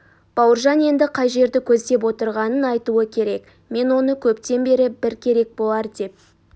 бауыржан енді қай жерді көздеп отырғанын айтуы керек мен оны көптен бері бір керек болар деп